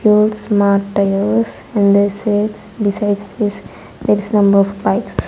fuel smart tails and this is besides this there is number of bikes.